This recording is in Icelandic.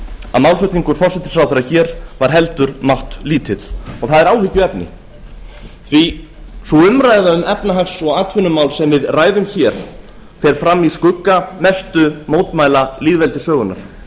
að málflutningur forsætisráðherra hér var heldur máttlítill og það er áhyggjuefni sú umræða um efnahags og atvinnumál sem við ræðum hér fer fram í skugga mestu mótmæla lýðveldissögunnar